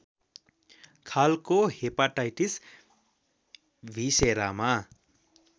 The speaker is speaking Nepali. खालको हेपाटाइटिस भिसेरामा